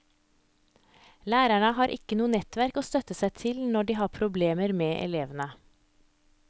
Lærerne har ikke noe nettverk å støtte seg til når de har problemer med elevene.